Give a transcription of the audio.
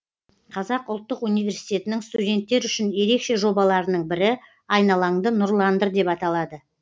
қазақ ұлттық университетінің студенттер үшін ерекше жобаларының бірі айналаңды нұрландыр деп аталады